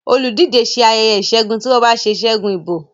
oludije ṣe ayeye isegun ti wón bá ṣe ṣẹgun ìbò